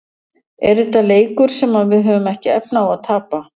Er þetta leikur sem að við höfum ekki efni á að tapa?